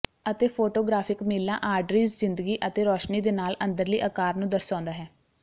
ਅਤੇ ਫੋਟੋਗ੍ਰਾਫਿਕ ਮੀਲਾਂ ਆਡ੍ਰਿੱਜ ਜ਼ਿੰਦਗੀ ਅਤੇ ਰੋਸ਼ਨੀ ਦੇ ਨਾਲ ਅੰਦਰਲੀ ਆਕਾਰ ਨੂੰ ਦਰਸਾਉਂਦਾ ਹੈ